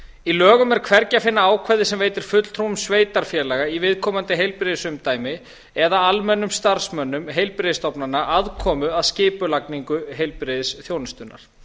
í lög um er hvergi að finna ákvæði sem veitir fulltrúum sveitarfélaga í viðkomandi heilbrigðisumdæmi eða almennum starfsmönnum heilbrigðisstofnana aðkomu að skipulagningu heilbrigðisþjónustunnar